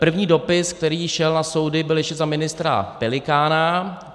První dopis, který šel na soudy, byl ještě za ministra Pelikána.